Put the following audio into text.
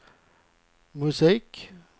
musik